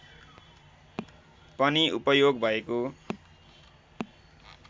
पनि उपयोग भएको